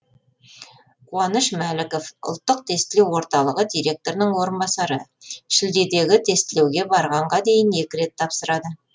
қуаныш мәліков ұлттық тестілеу орталығы директорының орынбасары шілдедегі тестілеуге барғанға дейін екі рет тапсырады